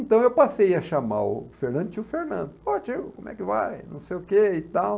Então eu passei a chamar o Fernando, tio Fernando, ó tio, como é que vai, não sei o que e tal.